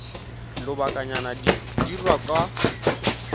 lobakanyana di ka dirwa kwa